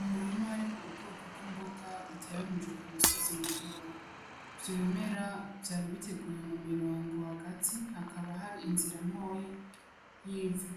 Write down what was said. Umurimu harimwo ubwoko bw'imboga buteranije ku musozi mutoyi vyo bimera vyari biteguye mu mirongo hagati hakaba hari inzira ntoyi yivu